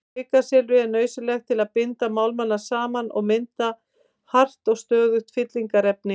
Kvikasilfrið er nauðsynlegt til að binda málmana saman og mynda hart og stöðugt fyllingarefni.